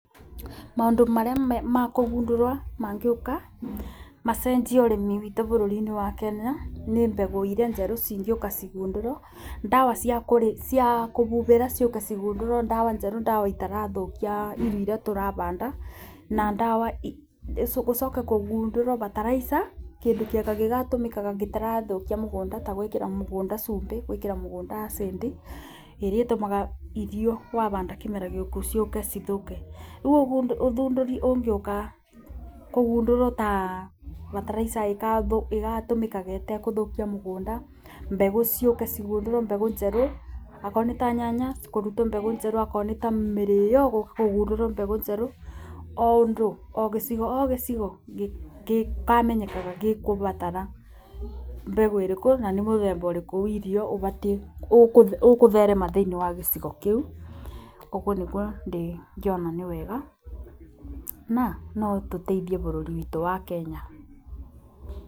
Maũndũ marĩa makũgundũrwo mangĩũka macenjie ũrĩmi witũ bũrũri-inĩ wa Kenya nĩ mbegũ iria njerũ cingĩũka cigundũrwo, ndawa ciakũbubĩra ciũke cigundũrwo ndawa njerũ ndawa itarathũkia irio iria tũrabanda. Gũcoke kũgũndũrwo bataraica kĩndũ kĩega gĩtarathũkia mũgũnda ta gwĩkĩra mũgũnda cumbĩ, gwĩkĩra mũgũnda acid ĩrĩa ĩtũmga irio wabanda kĩmera gĩũku ciũke cithũke. Rĩu ũthundũri ũngĩũka kũgundũrwo ta bataraica ĩgatũmikaga ĩtaguthũkia mũgũnda, mbegũ ciũke cigundũrwo mbegũ njerũ okorwo nĩ ta nyanya kũrutwo mbegũ njerũ okorwo nĩ ta mĩrĩo kũgundũrwo mbegũ njerũ o ũndũ ogĩcigo o gĩcigo gĩkamenyekaga gĩgũbatara mbegũ ĩrĩkũ na mũthemba ũrĩkũ wa irio ũbatiĩ, ũkũtherema thĩinĩ wa gĩcigo kĩu. Ũguo nĩ guo ingĩona nĩ wega na no tũteithie bũrũri witũ wa Kenya.